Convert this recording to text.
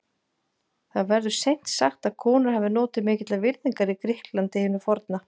Það verður seint sagt að konur hafi notið mikillar virðingar í Grikklandi hinu forna.